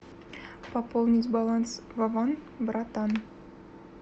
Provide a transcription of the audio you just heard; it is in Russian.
пополнить баланс вован братан